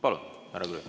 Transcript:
Palun, härra Grünthal!